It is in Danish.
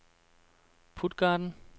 Puttgarden